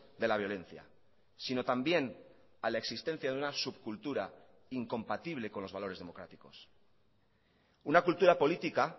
de la violencia sino también a la existencia de una subcultura incompatible con los valores democráticos una cultura política